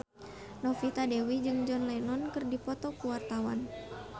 Novita Dewi jeung John Lennon keur dipoto ku wartawan